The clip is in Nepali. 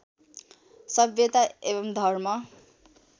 सभ्यता एवं धर्म